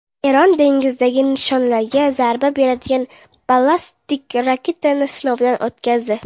Eron dengizdagi nishonlarga zarba beradigan ballistik raketani sinovdan o‘tkazdi.